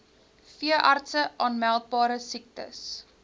veeartse aanmeldbare siektes